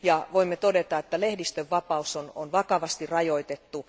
Voimme todeta, että lehdistönvapautta on vakavasti rajoitettu.